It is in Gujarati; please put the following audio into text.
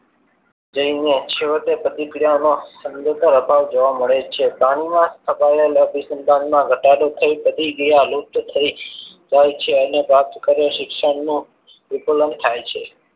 જઈને છોડ તે પ્રતિક્રિયા નો સંદર્ભ અપાર જોવા મળે છે વિકલનના અતિસંધાનમાં ઘટાડો થઈ લુપ્ત થઈ જાય છે અને વાત કરે શિક્ષણની વિકલન થાય છે.